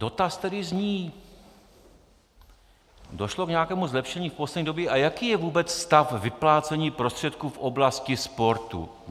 Dotaz tedy zní: "Došlo k nějakému zlepšení v poslední době a jaký je vůbec stav vyplácení prostředků v oblasti sportu?